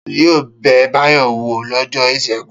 Ta ni yóò bẹ Báyọ̀ wò lọ́jọ́ ìṣẹ́gun?